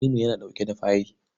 Tanimu yana ɗauke da fayil.